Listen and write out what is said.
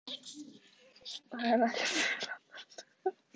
Það er ekkert mjög langt, hélt hún áfram.